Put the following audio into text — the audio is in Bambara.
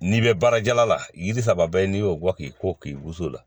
N'i bɛ baara jala la yiri saba bɛɛ n'i y'o bɔ k'i ko k'i b'o so la